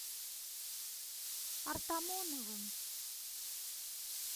артамоновым